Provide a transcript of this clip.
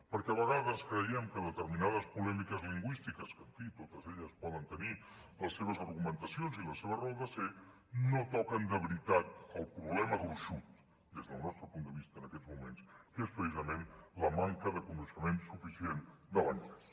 perquè a vegades creiem que determinades polèmiques lingüístiques que en fi totes elles poden tenir les seves argumentacions i la seva raó de ser no toquen de veritat el problema gruixut des del nostre punt de vista en aquests moments que és precisament la manca de coneixement suficient de l’anglès